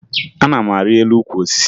Ana m arị elu ukwu osisi